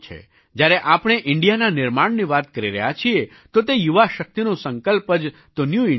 જ્યારે આપણે ઇન્ડિયાના નિર્માણની વાત કરી રહ્યા છીએ તો તે યુવા શક્તિનો સંકલ્પ જ તો ન્યૂ ઇન્ડિયા છે